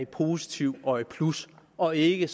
positiv og i plus og ikke